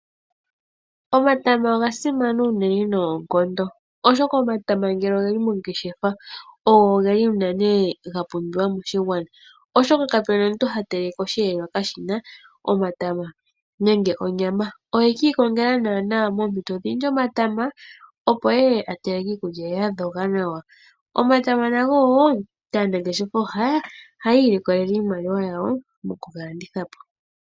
Omatama ogasimana uunene noonkondo oshoka omatama ngele ogeli mongeshefa, ogo geli unene gapumbiwa moshigwana oshoka kapuna omuntu hateleke oshihelelwa kashina omatama nenge onyama. Ohekiikongela naana moompito dhindji omatama opo eye ateleke iikulya ye yadhoga nawa. Omatama nago wo aanangeshefa ohaya iilikolelemo iimaliwa yawo mokugalanditha po.